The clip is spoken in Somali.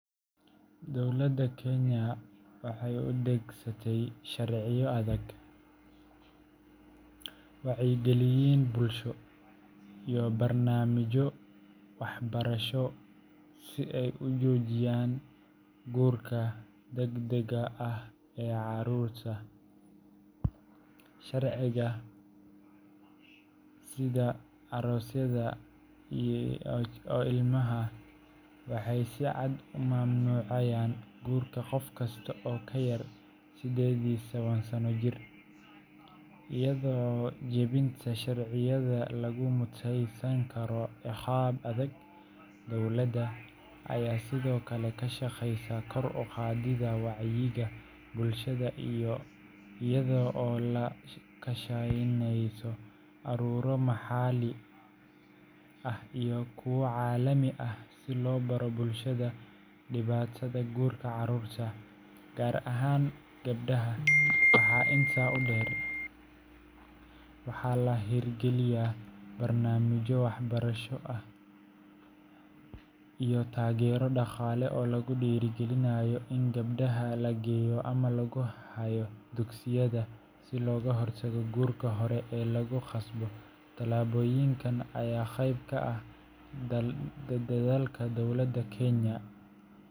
Dowladda Kenya waxay u adeegsatay sharciyo adag, wacyigelin bulsho, iyo barnaamijyo waxbarasho si ay u joojiso guurka degdegga ah ee carruurta. Sharciyada sida Marriage Act 2014 and Children Act waxay si cad u mamnuucayaan guurka qof kasta oo ka yar sided iyo toban sano jir, iyada oo jebinta sharciyadan lagu mutaysan karo ciqaab adag. Dowladda ayaa sidoo kale ka shaqeysa kor u qaadidda wacyiga bulshada iyada oo la kaashaneysa ururo maxalli ah iyo kuwa caalami ah si loo baro bulshada dhibaatada guurka carruurta, gaar ahaan gabdhaha. Waxaa intaa dheer, waxaa la hirgeliyey barnaamijyo waxbarasho iyo taageero dhaqaale oo lagu dhiirrigelinayo in gabdhaha la geeyo ama lagu hayo dugsiyada, si looga hortago guurka hore ee lagu khasbo. Tallaabooyinkan ayaa qeyb ka ah dadaalka dowladda Kenya.